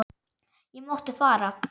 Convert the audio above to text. Ég mátti fara.